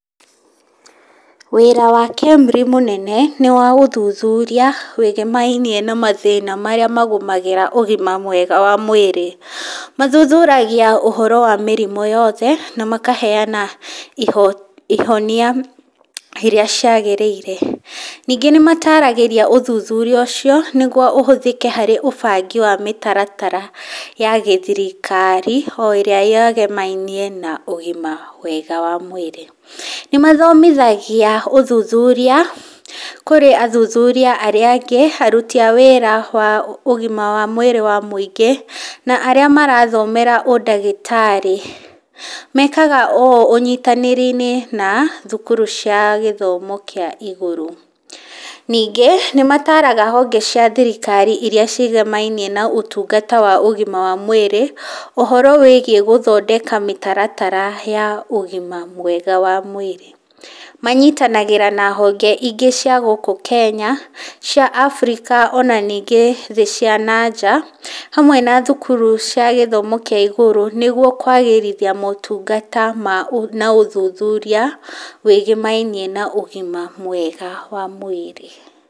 Wĩra wa KEMRI mũnene nĩ wa ũthuthuria wĩgĩmainie na mathĩna marĩa magũmagĩra ũgima mwega wa mwĩrĩ, mathuthuragia ũhoro wa mĩrimũ yothe na makaheana ihonia iria ciagĩrĩire, ningĩ nĩ mataragĩria ũthuthuria ũcio nĩguo ũhũthĩke harĩ ũbangi wa mĩtaratara ya gĩthirikari, o ĩrĩa yegemainie na ũgima mwega wa mwĩrĩ. Nĩ mathomithagia ũthuthuria kũrĩ athuthuria arĩa angĩ, aruti a wĩra wa ũgima wa mwĩrĩ wa mũingĩ, na arĩa marathomera ũndagĩtarĩ. Mekaga ũũ ũnyitanĩri-inĩ na na thukuru cia gĩthomo kĩa igũrũ. Ningĩ nĩ mataraga honge cia thirikari iria ciĩgemainie na ũtungata wa mwĩrĩ, ũhoro wĩgiĩ gũthondeka mĩtaratara ya ũgima mwega wa mwĩrĩ. Manyitanagĩra na honge ingĩ cia gũkũ Kenya, cia Africa, ona ningĩ thĩ cia nanja, hamwe na thukuru cia gĩthomo kĩa igũrũ nĩguo kwagĩrithia motungata ma na ũthuthuria wĩgĩmainie na ũgima mwega wa mwĩrĩ.